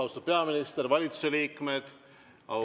Austatud peaminister, valitsuse liikmed!